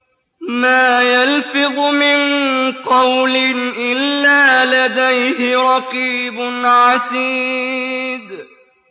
مَّا يَلْفِظُ مِن قَوْلٍ إِلَّا لَدَيْهِ رَقِيبٌ عَتِيدٌ